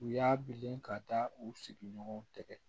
U y'a bilen ka da u sigiɲɔgɔnw tɛgɛ